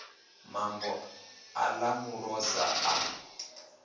mambo ha ḓa muloza a